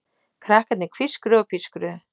Krakkarnir hvískruðu og pískruðu.